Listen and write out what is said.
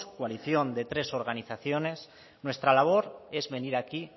coalición de tres organizaciones nuestra labor es venir aquí